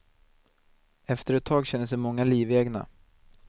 Efter ett tag känner sig många livegna.